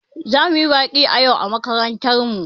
Za mu yi baƙi yau a makarantar mu.